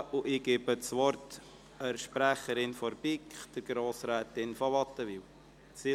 Ich erteile der Sprecherin der BiK, Grossrätin von Wattenwyl, das Wort.